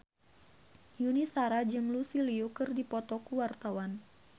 Yuni Shara jeung Lucy Liu keur dipoto ku wartawan